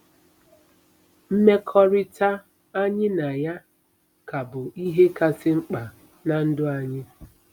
Mmekọrịta anyị na ya ka bụ ihe kasị mkpa ná ndụ anyị.